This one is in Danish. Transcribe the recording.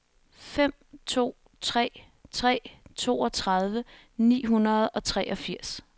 fem to tre tre toogtredive ni hundrede og treogfirs